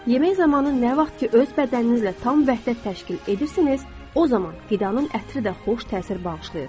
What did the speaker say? Yemək zamanı nə vaxt ki, öz bədəninizlə tam vəhdət təşkil edirsiniz, o zaman qidanın ətri də xoş təsir bağışlayır.